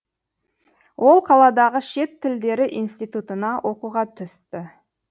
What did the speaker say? ол қаладағы шет тілдері институтына оқуға түсті